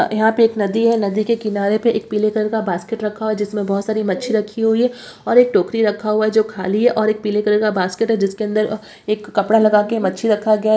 यहां पे एक नदी है नदी के किनारे पे एक पीले कलर का बास्केट रखा हुआ है जिसमे बहुत सारी मच्छी रखी हुई है और एक टोकरी रखा हुआ है जो खाली है और एक पीले कलर का बास्केट है जिसके अंदर एक कपड़ा लगा के मच्छी रखा गया है।